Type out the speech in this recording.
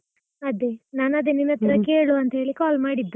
ಅದೆ, ನಾನದೆ ನಿನ್ನತ್ರ ಕೇಳುವಾಂತ ಹೇಳಿ call ಮಾಡಿದ್ದು.